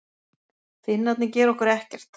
Finnarnir gera okkur ekkert.